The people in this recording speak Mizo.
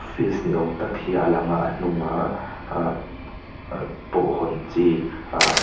office niawm tak hi a lang a a hnung ahhh ahh pawh hawn chi ahh--